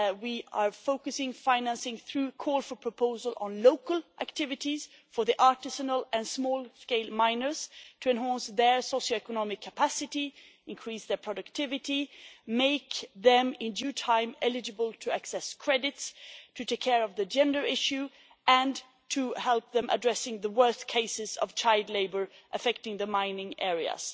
We are focusing financing through a call for proposals on local activities for artisanal and small scale miners to enhance their socioeconomic capacities, increase their productivity, make them, in due time, eligible to access credits, take care of the gender issue, and help them address the worst cases of child labour affecting the mining areas.